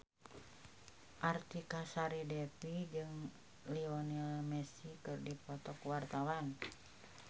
Artika Sari Devi jeung Lionel Messi keur dipoto ku wartawan